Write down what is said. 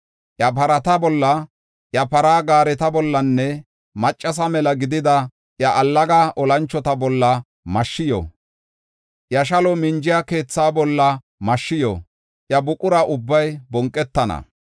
Iya parata bolla, iya para gaareta bollanne maccasa mela gidida iya allaga olanchota bolla mashshi yo. Iya shaluwa minjiya keethaa bolla mashshi yo; iya buqura ubbay bonqetana.